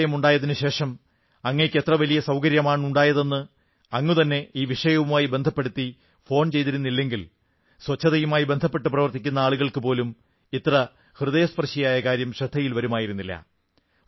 ശൌചാലയം ഉണ്ടായതിനു ശേഷം അങ്ങയ്ക്ക് എത്ര വലിയ സൌകര്യമാണുണ്ടായത് എന്ന് അങ്ങുതന്നെ ഈ വിഷയവുമായി ബന്ധപ്പെടുത്തി ഫോൺ ചെയ്തിരുന്നില്ലെങ്കിൽ സ്വച്ഛതയുമായി ബന്ധപ്പെട്ടു പ്രവർത്തിക്കുന്ന ആളുകൾക്ക് പോലും ഇത്ര ഹൃദയസ്പർശിയായ കാര്യം ശ്രദ്ധയിൽ വരുമായിരുന്നില്ല